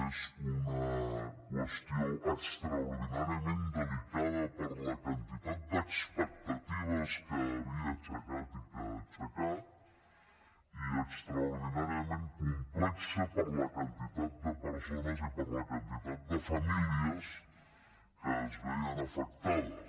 és una qüestió extraordinàriament delicada per la quantitat d’expectatives que havia aixecat i que ha aixecat i extraordinàriament complexa per la quantitat de persones i per la quantitat de famílies que se’n veien afectades